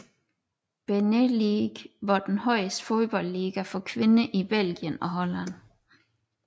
BeNe League var den højeste fodboldliga for kvinder i Belgien og Holland